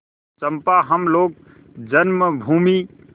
चंपा हम लोग जन्मभूमि